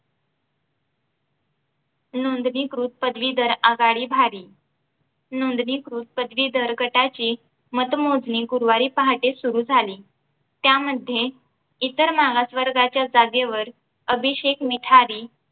नोंदणीकृत पदवीधर आघाडी भारी नोंदणीकृत पदवीधर गटाची मतमोजणी गुरुवारी पहाटे सुरु झाली त्यामध्ये इतर मागासवर्गाच्या जागेवर अभिषेक मिठारी